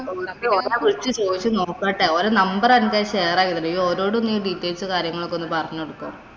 ഒരോട് വിളിച്ചു ചോദിച്ചു നോക്കട്ടെ. ഓരെ number എന്‍റെ share . നീ ഒരോട് നീ details ഉം, കാര്യങ്ങളുമൊക്കെ ഒന്ന് പറഞ്ഞുകൊടുക്കുവോ.